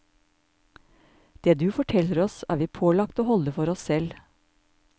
Det du forteller oss er vi pålagt å holde for oss selv.